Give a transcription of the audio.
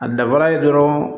A dafara ye dɔrɔn